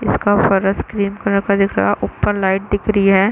उसका ऊपर screen colour का दिख रहा है ऊपर लाइट दिख रही है।